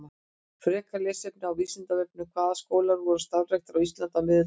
Frekara lesefni á Vísindavefnum: Hvaða skólar voru starfræktir á Íslandi á miðöldum?